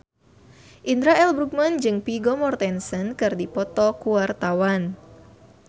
Indra L. Bruggman jeung Vigo Mortensen keur dipoto ku wartawan